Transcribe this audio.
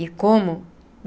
E como?